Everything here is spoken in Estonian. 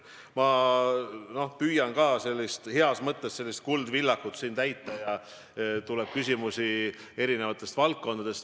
Ma püüan nüüd siin heas mõttes "Kuldvillakut" mängida – küsimusi tuleb erinevatest valdkondadest.